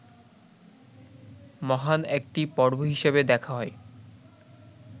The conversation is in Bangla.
মহান একটি পর্ব হিসাবে দেখা হয়